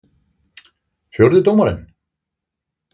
Fjórði dómarinn?